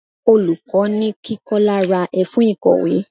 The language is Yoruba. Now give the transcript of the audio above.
Olùkọ́ ni kí Kọ́lá ra ẹfun ìkọ̀wé.